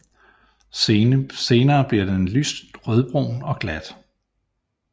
Senere bliver den lyst rødbrun og glat